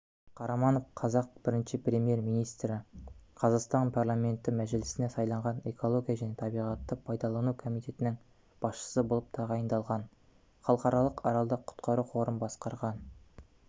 қараманов қазақ біріншіпремьер-министрі қазақстан парламенті мәжілісіне сайланған экология және табиғатты пайдалану комитетінің басшысы болып тағайындалған халықаралық аралды құтқару қорын басқарған